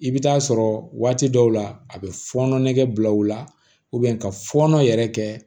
I bɛ taa sɔrɔ waati dɔw la a bɛ fɔɔnɔ nege bila u la ka fɔɔnɔ yɛrɛ kɛ